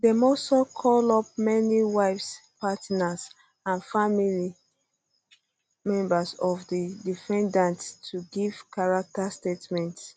dem um also call up many wives partners and family members of di defendants to give character statements